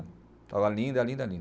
Estava linda, linda, linda.